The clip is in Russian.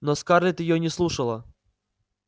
но скарлетт её не слушала